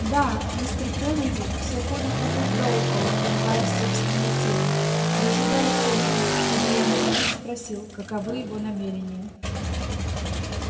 да мистер кеннеди всё ходит вокруг да около пугая собственной тени дожидается видно чтобы я напрямик спросил каковы его намерения